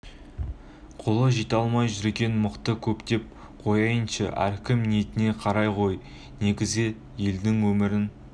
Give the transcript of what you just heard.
қолы жете алмай жүрген мықты көп деп қояйыншы әркім ниетіне қарай ғой негізі елдің өмірін